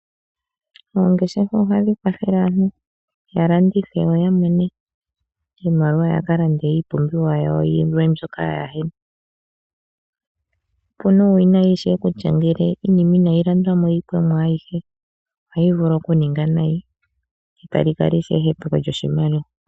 Oongeshefa ohadhi kwathele aantu ya landithe yo ya mone iimaliwa ya ka lande iipumbiwa yawo yilwe mbyoka ka yena. Opuna uuwinayi ishewe kutya ngele iinima inayi landwa mo yi pwemo ayihe ohayi vulu oku ninga nayi, tali kala ishewe ehepeko lyoshimaliwa.